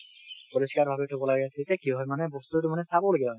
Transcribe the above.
পৰিষ্কাৰ ভাৱে থব লাগে তেতিয়া কি হয় মানে বস্তুটো চাবলগীয়া হয়